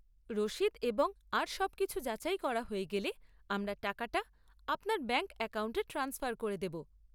রসিদ এবং আর সবকিছু যাচাই করা হয়ে গেলে আমরা টাকাটা আপনার ব্যাঙ্ক অ্যাকাউন্টে ট্রান্সফার করে দেব।